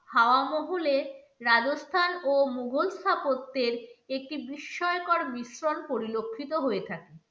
হাওয়া মহলে রাজস্থান ও মোঘল স্থাপত্যের একটি বিস্ময়কর মিশ্রণ পরিলক্ষিত হয়ে থাকে।